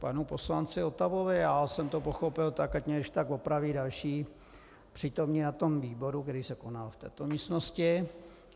Panu poslanci Votavovi, já jsem to pochopil tak, ať mě když tak opraví další přítomní na tom výboru, který se konal v této místnosti.